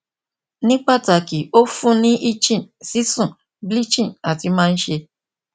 ni pataki o fun ni itching sisun bleaching ati maa n ṣe